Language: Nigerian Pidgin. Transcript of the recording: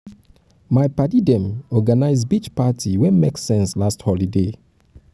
my paddy dem organise beach party wey make sense last holiday.